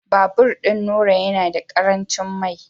Babur Nura yana da karancin mai